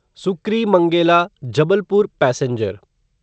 Sukri Mangela Jabalpur passenger